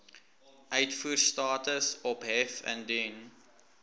uitvoerstatus ophef indien